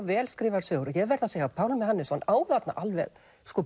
vel skrifaðar sögur og ég verð að segja að Pálmi Hannesson á þarna alveg